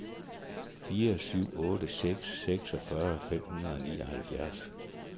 fire syv otte seks seksogfyrre fem hundrede og nioghalvfjerds